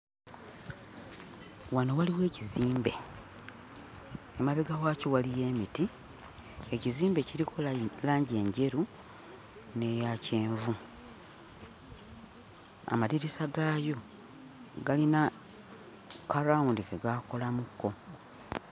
Wano waliwo ekizimbe emabega waakyo waliyo emiti ekizimbe kiriko langi enjeru n'eya kyenvu amadirisa gaayo galina kalaawundi ke gaakolamukko.